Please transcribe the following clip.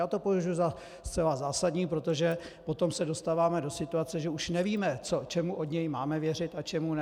Já to považuji za zcela zásadní, protože potom se dostáváme do situace, že už nevíme, čemu od něj máme věřit a čemu ne.